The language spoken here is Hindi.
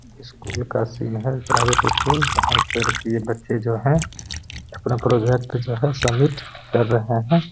स्कूल का सीन है प्राइवेट स्कूल जहाँ पर की बच्चे जो हैं अपना प्रॉजेक्ट जो है सबमिट कर रहे हैं।